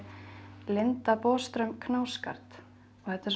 Linda Boström Knausgard þetta er